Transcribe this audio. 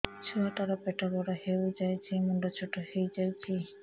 ଛୁଆ ଟା ର ପେଟ ବଡ ହେଇଯାଉଛି ମୁଣ୍ଡ ଛୋଟ ହେଇଯାଉଛି